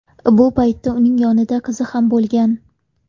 Bu payt uning yonida qizi ham bo‘lgan.